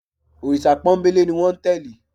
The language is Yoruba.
Olórìṣà pọ́nńbélé ni wọ́n tẹ́lẹ̀